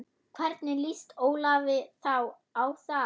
Hvernig lýst Ólafi á það?